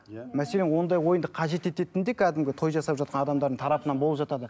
иә мәселен ондай ойынды қажет ететін де кәдімгі той жасап жатқан адамдардың тарапынан болып жатады